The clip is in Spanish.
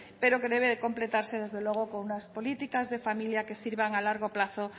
pero que debe de completarse desde luego con unas políticas de familia que sirvan a largo plazo